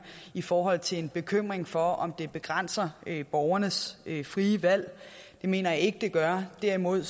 i forhold til en bekymring for om det begrænser borgernes frie valg det mener jeg ikke det gør derimod